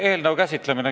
Sõnum on juba välja läinud.